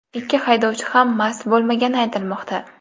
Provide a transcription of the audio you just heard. Ikki haydovchi ham mast bo‘lmagani aytilmoqda.